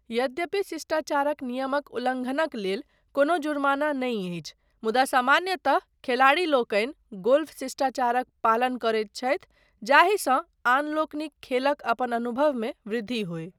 यद्यपि शिष्टाचारक नियमक उल्लङ्घनक लेल कोनो जुर्माना नहि अछि, मुदा सामान्यतः खेलाड़ीलोकनि गोल्फ शिष्टाचारक पालन करैत छथि जाहिसँ आन लोकनिक खेलक अपन अनुभवमे वृद्धि होय।